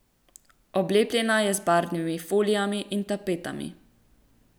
Oblepljena je z barvnimi folijami in tapetami.